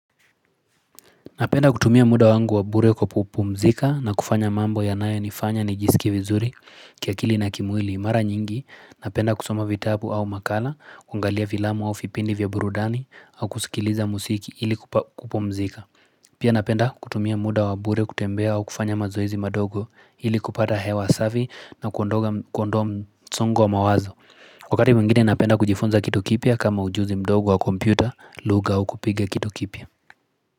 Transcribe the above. Napenda kutumia muda wangu wa bure kupumzika na kufanya mambo yanayo nifanya nijisikie vizuri kiakili na kimwili. Mara nyingi, napenda kusoma vitabu au makala, kungalia filamu au vipindi vya burudani au kusikiliza muziki ili kupumzika. Pia napenda kutumia muda wa bure kutembea au kufanya mazoezi madogo ili kupata hewa safi na kuondoa msongo wa mawazo. Kwa wakati mwingine napenda kujifunza kitu kipya kama ujuzi mdogo wa kompyuta, lugha au kupike kitu kipya.